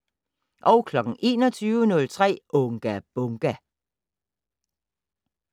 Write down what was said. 21:03: Unga Bunga!